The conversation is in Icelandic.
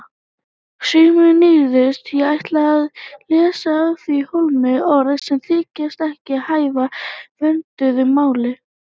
Sumum nýyrðum er ætlað að leysa af hólmi orð sem þykja ekki hæfa vönduðu máli.